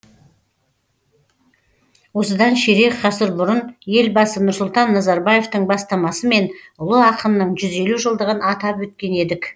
осыдан ширек ғасыр бұрын елбасы нұрсұлтан назарбаевтың бастамасымен ұлы ақынның жүз елу жылдығын атап өткен едік